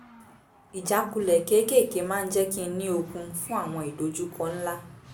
ìjákulẹ̀ kéékèèké máa ń jẹ́ kí n ní okun fún àwọn ìdojúkọ ńlá